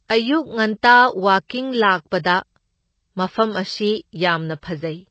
ꯑꯌꯨꯛ ꯉꯟꯇꯥ ꯋꯥꯀꯤꯡ ꯂꯥꯛꯄꯗ ꯃꯐꯝ ꯑꯁꯤ ꯌꯥꯝꯅ ꯐꯖꯩ꯫